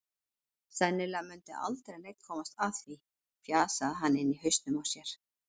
Sennilega mundi aldrei neinn komast að því, fjasaði hann inni í hausnum á sér.